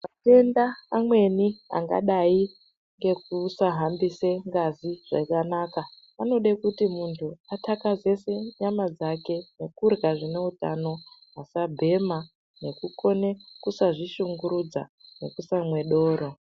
Matenda amweni angadai ngekusahambise ngazi zvakanaka anode kuti muntu atakazese nyama dzake ngokurya zvineutano asabhema nekukone kusazvishungurudza nekusamwe doro.